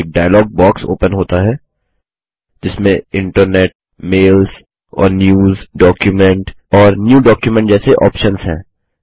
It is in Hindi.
एक डायलॉग बॉक्स ओपन होता है जिसमें internetमेल्स और newsडॉक्यूमेंट और न्यू डॉक्यूमेंट जैसे ऑप्शन्स हैं